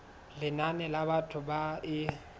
lenane la batho ba e